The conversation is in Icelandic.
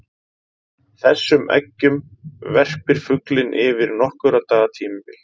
Þessum eggjum verpir fuglinn yfir nokkurra daga tímabil.